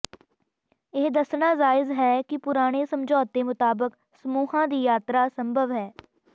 ਇਹ ਦੱਸਣਾ ਜਾਇਜ਼ ਹੈ ਕਿ ਪੁਰਾਣੇ ਸਮਝੌਤੇ ਮੁਤਾਬਕ ਸਮੂਹਾਂ ਦੀ ਯਾਤਰਾ ਸੰਭਵ ਹੈ